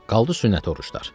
Qaldı sünnət oruclar.